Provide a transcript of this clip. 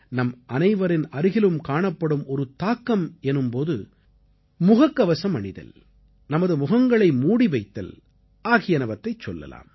நம் அனைவரின் அருகிலும் காணப்படும் ஒரு தாக்கம் எனும் போது முகக்கவசம் அணிதல் நமது முகங்களை மூடி வைத்தல் ஆகியனவற்றைச் சொல்லலாம்